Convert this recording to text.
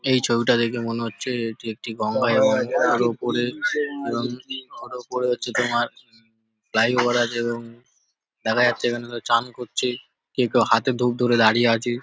এই ছবিটা দেখে মনে হচ্ছে এটি একটি গঙ্গা এবং তার ওপরে এবং তার ওপরে হচ্ছে তোমার ফ্লাইওভার আছে এবং দেখা যাচ্ছে এখানে সব চান করছে কেউ কেউ হাতে ধুপ ধরে দাঁড়িয়ে আছে।